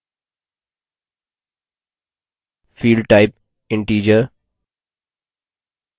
field type integer